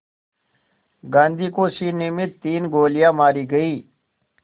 गांधी को सीने में तीन गोलियां मारी गईं